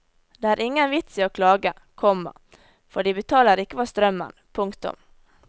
Det er ingen vits i å klage, komma for de betaler ikke for strømmen. punktum